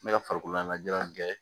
N bɛ ka farikolo ɲɛnajɛ in kɛ